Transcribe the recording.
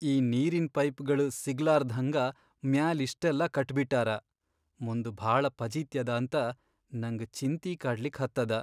ಈ ನೀರಿನ್ ಪೈಪ್ಗಳ್ ಸಿಗ್ಲಾರ್ದ್ಹಂಗ ಮ್ಯಾಲ್ ಇಷ್ಟೆಲ್ಲಾ ಕಟ್ಬಿಟ್ಟಾರ, ಮುಂದ್ ಭಾಳ ಫಜೀತ್ಯದಾಂತ ನಂಗ್ ಚಿಂತಿ ಕಾಡ್ಲಿಕ್ ಹತ್ತದ.